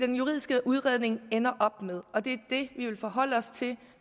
den juridiske udredning ender op med og det er det vi vil forholde os til